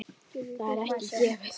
Það er ekki gefið.